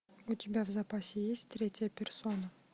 у тебя в запасе есть третья персона